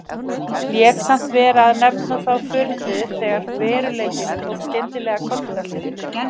Lét samt vera að nefna þá furðu þegar veruleikinn tók skyndilega kollveltu.